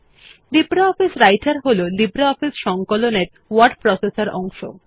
LibreOffice রাইটের হল LibreOffice সংকলনের ওয়ার্ড প্রসেসর অংশ